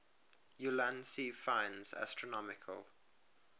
ulansey finds astronomical